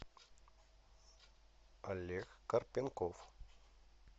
олег карпенков